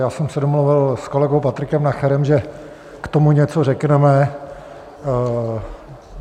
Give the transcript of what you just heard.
Já jsem se domluvil s kolegou Patrikem Nacherem, že k tomu něco řekneme.